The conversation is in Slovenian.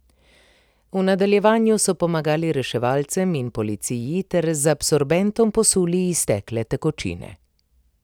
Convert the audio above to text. V nadaljevanju so pomagali reševalcem in policiji ter z absorbentom posuli iztekle tekočine.